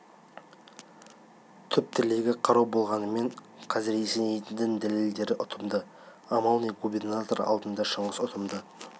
түп тілегі қарау болғанымен қазір есенейдің дәлелдері ұтымды амал не губернатор алдында шыңғыс ұтымды